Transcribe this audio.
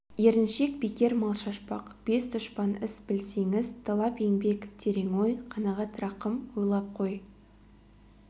еріншек бекер мал шашпақ бес дұшпан іс білсеңіз талап еңбек терең ой қанағат рахым ойлап қой